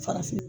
Farafin